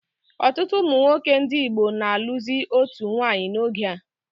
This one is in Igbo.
Ọtụtụ ụmụnwoke ndị Igbo na alụzi otu nwanyị n'oge a